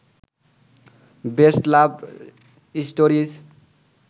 best love stories